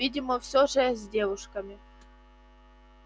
видимо все же с девушки